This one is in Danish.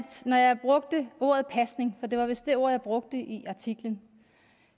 når jeg brugte ordet pasning for det var vist det ord jeg brugte i artiklen